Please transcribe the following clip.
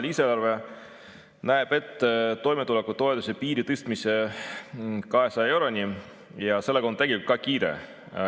Lisaeelarve näeb ette toimetulekupiiri tõstmise 200 euroni ja sellega on kiire.